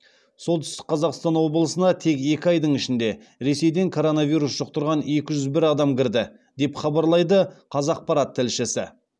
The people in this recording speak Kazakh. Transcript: солтүстік қазақстан облысына тек екі айдың ішінде ресейден коронавирус жұқтырған екі жүз бір адам кірді деп хабарлайды қазақпарат тілшісі